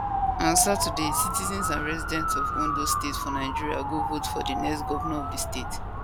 on saturday citizens and residents of ondo state for nigeria go vote for di next governor of di sate